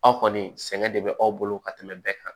Aw kɔni sɛgɛn de bɛ aw bolo ka tɛmɛ bɛɛ kan